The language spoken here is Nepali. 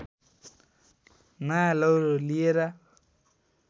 नयाँ लौरो लिएर